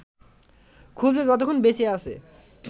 খুঁজবে যতক্ষণ বেঁচে আছে